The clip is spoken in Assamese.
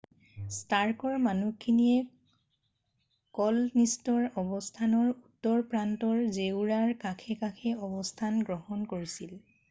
ষ্টাৰ্কৰ মানুহখিনিয়ে ক'লনিষ্টৰ অৱস্থানৰ উত্তৰ প্ৰান্তৰ জেওৰাৰ কাষে কাষে অৱস্থান গ্ৰহণ কৰিছিল